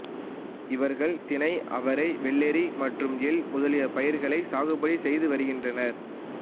இவர்கள் தினை அவரை வெள்ளரி மற்றும் எள் முதலிய பயிர்களை சாகுபடி செய்து வருகின்றனர்